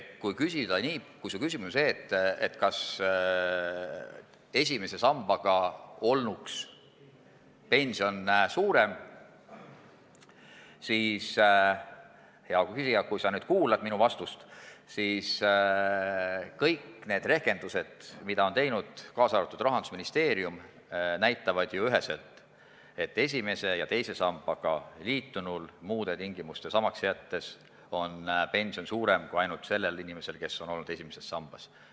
Kui su küsimus on see, kas ainult esimese sambaga liitunuks jäädes olnuks pension suurem, siis, hea küsija, kui sa nüüd minu vastust kuulad, kõik need rehkendused, mida on teinud ka Rahandusministeerium, näitavad ju üheselt, et esimese ja teise sambaga liitunul muude tingimuste samaks jäädes on pension suurem kui sellel inimesel, kes on olnud ainult esimeses sambas.